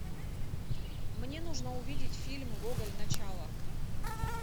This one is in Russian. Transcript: мне нужно увидеть фильм гоголь начало